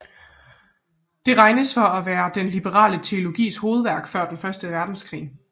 Den regnes for at være den liberale teologis hovedværk før den første verdenskrig